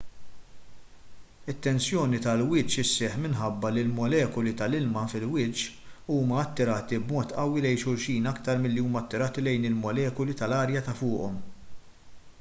it-tensjoni tal-wiċċ isseħħ minħabba li l-molekuli tal-ilma fil-wiċċ tal-ilma huma attirati b'mod qawwi lejn xulxin aktar milli huma attirati lejn il-molekuli tal-arja ta' fuqhom